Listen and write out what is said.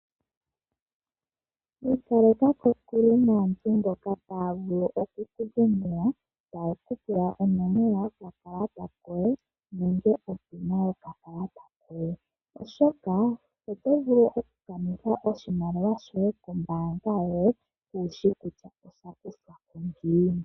Ikaleka kokule naantu mboka taya vulu okuku dhengela taye kupula onomola yokakalata koye nenge opina yokakalata koye oshoka oto vulu oku kanitha oshimaliwa shoye kombaanga yoye kushi kutya osha kuthwa ko ngiini.